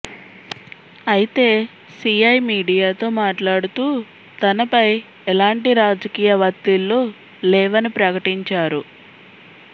అయితే సిఐ మీడియాతో మాట్లాడుతూ తనపై ఎలాంటి రాజకీయ వత్తిళ్లు లేవని ప్రకటించారు